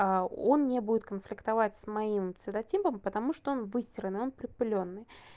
а он не будет конфликтовать с моим цветотипом потому что он выстиранный он припылённый